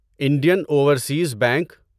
Indian overseas bank